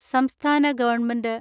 സംസ്ഥാന ഗവൺമെന്റ്